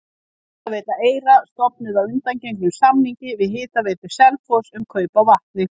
Hitaveita Eyra stofnuð að undangengnum samningi við Hitaveitu Selfoss um kaup á vatni.